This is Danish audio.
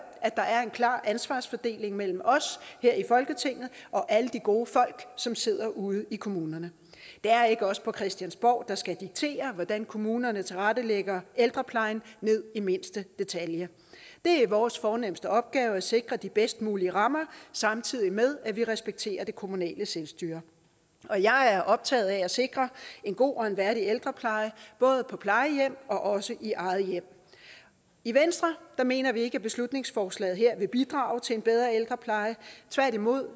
at der er en klar ansvarsfordeling mellem os her i folketinget og alle de gode folk som sidder ude i kommunerne det er ikke os på christiansborg der skal diktere hvordan kommunerne tilrettelægger ældreplejen ned i mindste detalje det er vores fornemste opgave at sikre de bedst mulige rammer samtidig med at vi respekterer det kommunale selvstyre og jeg er optaget af at sikre en god og en værdig ældrepleje både på plejehjem og også i eget hjem i venstre mener vi ikke at beslutningsforslaget her vil bidrage til en bedre ældrepleje tværtimod